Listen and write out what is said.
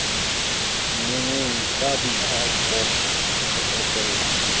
menngweng ka boithaopo ho etella